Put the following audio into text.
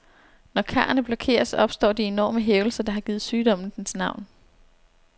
Når karrene blokeres, opstår de enorme hævelser, der har givet sygdommen dens navn.